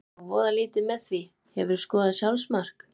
Fylgist nú voða lítið með því Hefurðu skorað sjálfsmark?